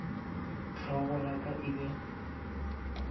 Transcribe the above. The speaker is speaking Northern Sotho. hlogo ya ka e be